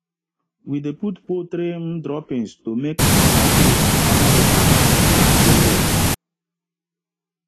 we dey put poultry um droppings to make basil and other local herbs um grow well